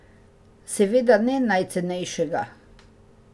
Seveda ne najcenejšega.